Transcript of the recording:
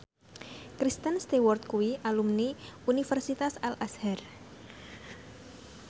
Kristen Stewart kuwi alumni Universitas Al Azhar